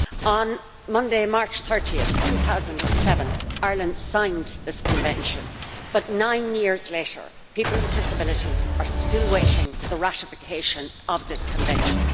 On Monday, 30 March 2007 Ireland signed this Convention but, nine years later, people with disabilities are still awaiting the ratification of this Convention.